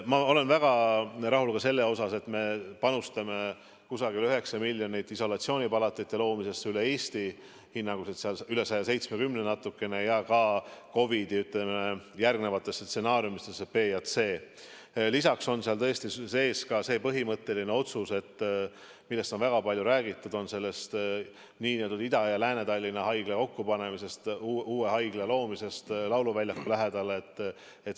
Ma olen väga rahul ka sellega, et me panustame umbes 9 miljonit isolatsioonipalatite loomisesse üle Eesti, hinnanguliselt on neid natukene üle 170, ja ka COVID-i stsenaariumidesse B ja C. Lisaks on tõesti sees ka põhimõtteline otsus, millest on väga palju räägitud, nn Ida- ja Lääne-Tallinna haigla kokkupanemise kohta, uue haigla loomise kohta lauluväljaku lähedale.